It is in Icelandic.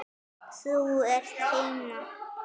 Þú ert heima!